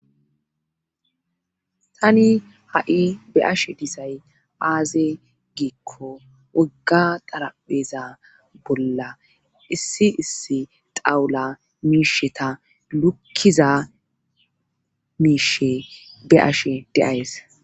Tani ha7i be7ashe disay aaze giikko wogga xarapheza bolla issi issi xawula miisheta lukkiza miishe be7ashe deays.